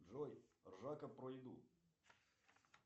джой ржака про еду